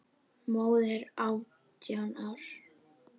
Móðir átján ára?